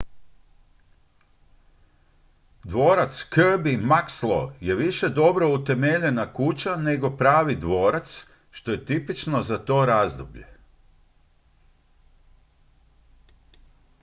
dvorac kirby muxloe je više dobro utemeljena kuća nego pravi dvorac što je tipično za to razdoblje